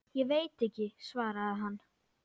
Ég veit ekki, svaraði hann.